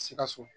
Sikaso